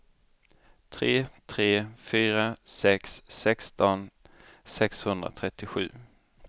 tre tre fyra sex sexton sexhundratrettiosju